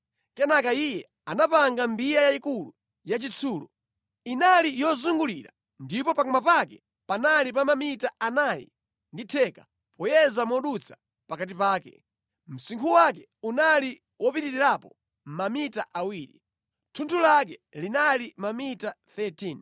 Kenaka iye anapanga mbiya yayikulu yachitsulo. Inali yozungulira ndipo pakamwa pake panali pa mamita anayi ndi theka, poyeza modutsa pakati pake. Msinkhu wake unali wopitirirapo mamita awiri. Thunthu lake linali mamita 13.